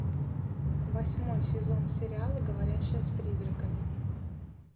восьмой сезон сериала говорящая с призраками